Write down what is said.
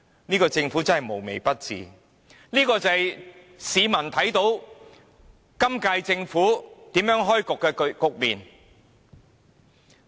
這個政府真的無微不至，這就是市民所看到由本屆政府開創的局面。